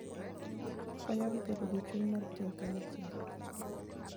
Konyogi bedo gi chuny mar tiyo kanyachiel.